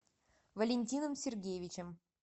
валентином сергеевичем